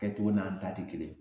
Kɛcogo n'an ta te kelen ye